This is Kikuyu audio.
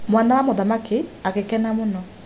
Mwana wa mũthamaki agĩkena mũno.